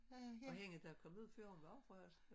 Og hende der kom ud før hun var også fra Hasle